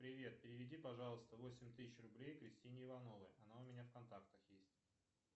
привет переведи пожалуйста восемь тысяч рублей кристине ивановой она у меня в контактах есть